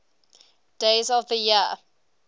days of the year